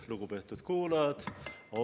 Lugupeetud kuulajad!